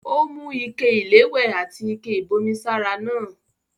Ó mú ike-iléwẹ̀ àti ike-ìbomi sára náà.